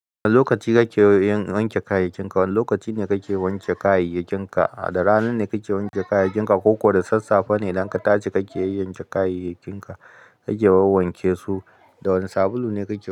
Wane lokaci kake wanke kayayakin ka? Wane lokaci ne kake yanke kayayakin ka? Da rana ne kake wanke kayayyakin ka ko da sassafe ne idan ka tashi kake yanyanke kayayyakin ka, kake wawwanke su? Da wane sabulu ne ka ke wa?